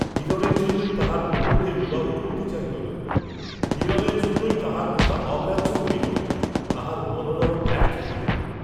হিরণের জন্যই তাঁহার বন্ধুকে বিবাহ করিতে চাহিল না, হিরণের জন্যই তাঁহার কথা অগ্রাহ্য করিল, তাঁহার মনোরথ ব্যর্থ করিল!